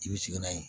I bɛ sigi n'a ye